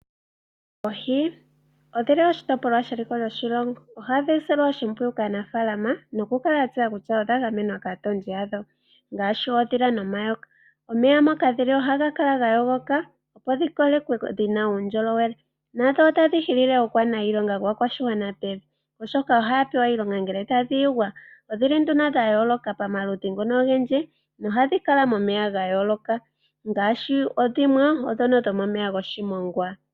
Oohi odhili oshitopolwa sheliko lyoshilongo. Ohadhi silwa oshimpwiyu kaanafaalama noku kala ya tseya kutya odha gamenwa kaatondi yadho ngaashi oondhila nomayoka. Omeya moka dhili ohaga kala ga yogoka, opo dhi kolekwe dhi na uundjolowele, nadho otadhi hilile aakwaniilonga yaakwashigwana pevi, oshoka ohaya pewa iilonga ngele tadhi yogwa. Odhili nduno dha yooloka pamaludhi ngono ogendji nohadhi kala momeya ga yooloka ngaashi dhimwe odho ndhono dhomomeya goshimongwa.